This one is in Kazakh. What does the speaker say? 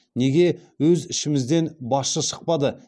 неге өз ішімізден басшы шықпады